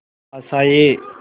आशाएं